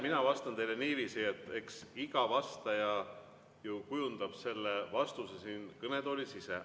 Mina vastan teile niiviisi, et eks iga vastaja kujundab oma vastuse siin kõnetoolis ise.